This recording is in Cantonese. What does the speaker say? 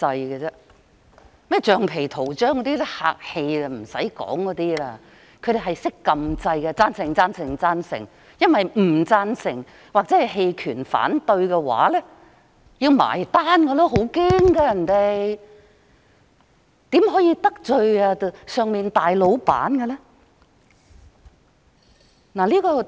稱他們為"橡皮圖章"，只是客氣的說法，他們只懂按下"贊成"按鈕，贊成、贊成、贊成，因為投"反對"或"棄權"的話，他們擔心會被算帳，很害怕，大老闆不可以得罪。